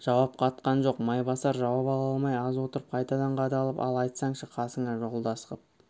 жауап қатқан жоқ майбасар жауап ала алмай аз отырып қайтадан қадалып ал айтсаңшы қасыңа жолдас қып